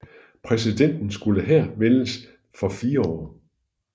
Præsidenten skulle her efter vælges for 4 år